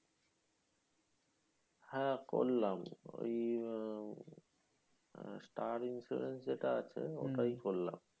হ্যাঁ করলাম। ওই আহ ষ্টার ইন্স্যুরেন্স যেটা আছে, ওটাই করলাম।